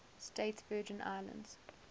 states virgin islands